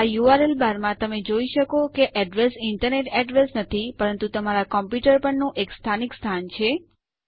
આ URL bar માં તમે જોઈ શકો છો કે અડ્રેસ ઈન્ટરનેટ અડ્રેસ નથી પરંતુ તમારા કમ્પ્યુટર પરનું એક સ્થાનિક સ્થાન છે